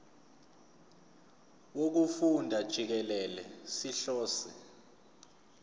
wokufunda jikelele sihlose